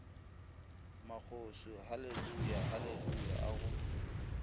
magoswi haleluya haleluya a go